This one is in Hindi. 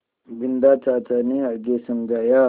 बिन्दा चाचा ने आगे समझाया